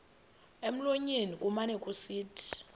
emlonyeni kumane kusithi